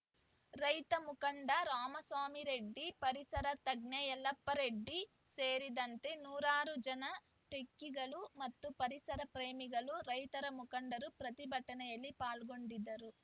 ರೈತ ಮುಖಂಡ ರಾಮಸ್ವಾಮಿರೆಡ್ಡಿ ಪರಿಸರ ತಜ್ಞೆ ಯಲ್ಲಪ್ಪ ರೆಡ್ಡಿ ಸೇರಿದಂತೆ ನೂರಾರು ಜನ ಟೆಕ್ಕಿಗಳು ಮತ್ತು ಪರಿಸರ ಪ್ರೇಮಿಗಳು ರೈತ ಮುಖಂಡರು ಪ್ರತಿಭಟನೆಯಲ್ಲಿ ಪಾಲ್ಗೊಂಡಿದ್ದರು